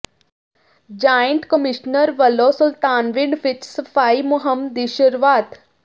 giant commissioner ਵੱਲੋਂ ਸੁਲਤਾਨਵਿੰਡ ਵਿੱਚ ਸਫ਼ਾਈ ਮੁਹਿੰਮ ਦੀ ਸ਼ੁਰੂਆਤ